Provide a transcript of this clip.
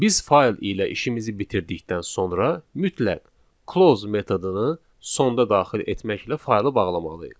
Biz fayl ilə işimizi bitirdikdən sonra mütləq close metodunu sonda daxil etməklə faylı bağlamalıyıq.